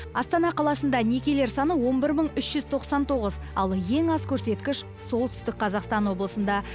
астана қаласында некелер саны он бір мың үш жүз тоқсан тоғыз ал ең аз көрсеткіш солтүстік қазақстан облысында